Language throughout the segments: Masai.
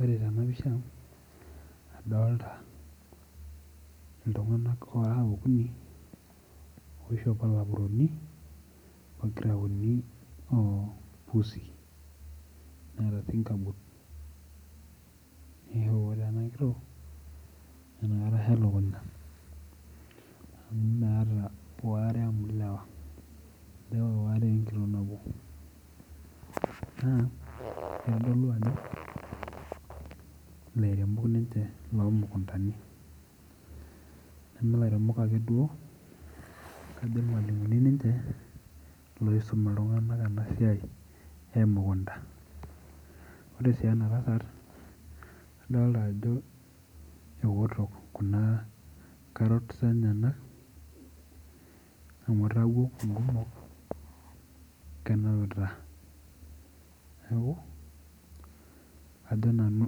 Ore tena pisha adolita intomonok oora okuni oishopo lapurooni onkiraoni ousi, neaku ore ena nkitok netioik ilakunya amu meeta oare amu ilewa, naa eitodoliu ajo ilairemok ninche loo mukuntani, nemee ilairemok ake duo, kajo ilmalimuni ninche oisomare ena siai emukunta, ore sii enkae adolita ajo eoto kuna karrots enyena amu eitawuo naaku kenapita, ajo nanu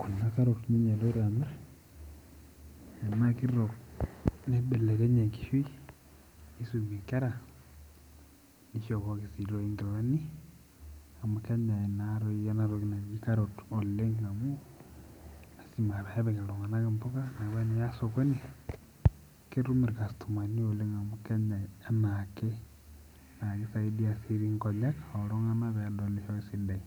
kuna karoti eloto ninye amirr tana enkilo neibelekenyie enkishui, neisumie ikera, neishopoki enkilani amu kenyai naa dei ena toki naji karot oleng amu lasim apeepik iltunganak impuka neya esokini, ketum ilkastomani oleng amu kenyai anaake amu keisaidia si rei inkonyek ooltungana peedolisho sii ninche.